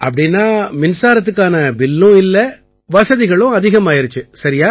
அப்படீன்னா மின்சாரத்துக்கான பில்லும் இல்லை வசதிகளும் அதிகமாயிருச்சு சரியா